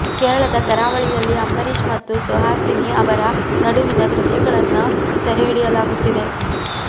ಕೇರಳದ ಕರಾವಳಿಯಲ್ಲಿ ಅಂಬರೀಶ್ ಮತ್ತು ಸುಹಾಸಿನಿ ಅವರ ನಡುವಿನ ದೃಶ್ಯಗಳನ್ನ ಸೆರೆಹಿಡಿಯಲಾಗುತ್ತಿದೆ